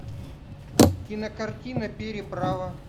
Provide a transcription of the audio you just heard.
кинокартина переправа